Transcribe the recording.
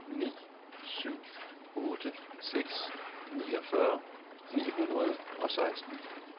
ni syv otte seks niogfyrre ni hundrede og seksten